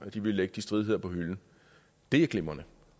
at de vil lægge de stridigheder på hylden og det er glimrende